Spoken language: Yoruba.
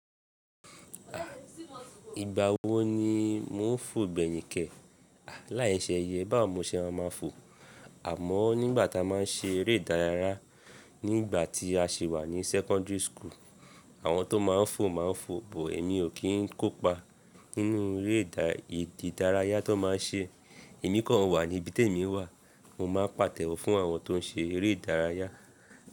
À, ìgbà wo ni mò ń fò gbẹ̀hìn kẹ̀? À, láìṣe eye bá wo ni mo ṣe ma máa ń fò. Àmọ́ nígbà tá a máa ń ṣe eré ìdárayá nígbà tí a sì wà ní secondary school, àwọn tó máa ń fò máa ń fò, but èmi ò kí ń kópa nínú eré ìdárayá tó máa ń ṣe. Èmi kan wà níbi tí èmi wà. Mo máa ń pàtẹ́wọ́ fún àwọn tó ń ṣe eré ìdárayá.